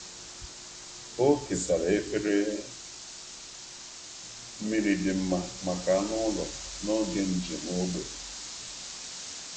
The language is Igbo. Ọ kesara efere mmiri dị mma maka anụ ụlọ n’oge njem ógbè.